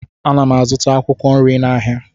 Ana m azụta akwụkwọ nri n'ahịa